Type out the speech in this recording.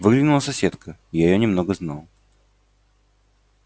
выглянула соседка я её немного знал